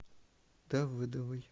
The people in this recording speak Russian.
давыдовой